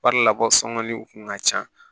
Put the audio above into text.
Wari la bɔ sɔngɔli kun ka ca